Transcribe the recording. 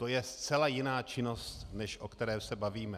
To je zcela jiná činnost, než o které se bavíme.